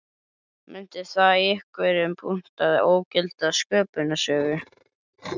Mundi það í einhverjum punkti ógilda sköpunarsögu